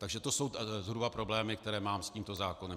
Takže to jsou zhruba problémy, které mám s tímto zákonem.